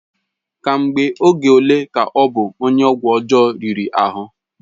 Ka mgbe oge ole ka ọ bụ onye ọgwụ ọjọọ riri ahụ?